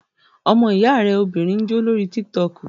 Ọmọ ìyá rẹ obìnrin ń jó lórí tík-tọkù